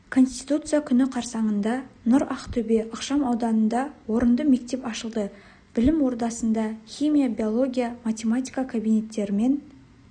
конституция күні қарсаңында нұр ақтөбе ықшам ауданында орынды мектеп ашылды білім ордасында химия биология математика кабинеттерімен